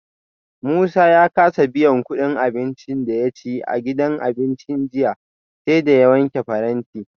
Musa ya kasa biyan kudin abincin da ya ci a gidan abincin jiya, sai da ya wanke faranti